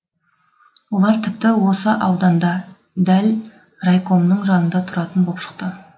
олар тіпті осы ауданда дәл райкомның жанында тұратын боп шықты